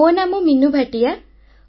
ମୋ ନାମ ମୀନୁ ଭାଟିଆ